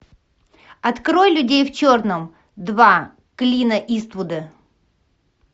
открой людей в черном два клина иствуда